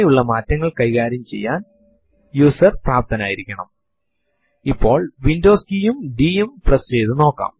നമുക്ക് file കളെ കാണുക മാത്രമല്ല കൂടുതൽ വിവരങ്ങൾ ലഭിക്കണമെങ്കിൽ നമ്മുക്ക് മൈനസ് l എൽ ഓപ്ഷൻ ഉപയോഗിക്കാം